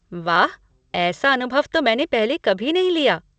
वाह, ऐसा अनुभव तो मैंने पहले कभी नहीं लिया।